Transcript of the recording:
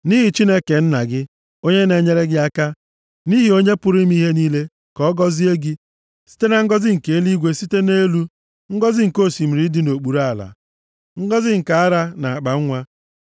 nʼihi Chineke nna gị, onye na-enyere gị aka, nʼihi Onye pụrụ ime ihe niile, ka ọ gọzie gị, site na ngọzị nke eluigwe site nʼelu, ngọzị nke osimiri dị nʼokpuru ala, ngọzị nke ara na akpanwa.